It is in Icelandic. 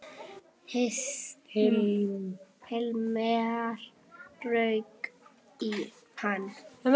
Hilmar rauk í hann.